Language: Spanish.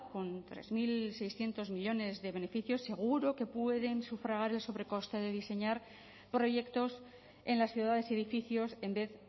con tres mil seiscientos millónes de beneficios seguro que puede sufragar el sobrecoste de diseñar proyectos en las ciudades y edificios en vez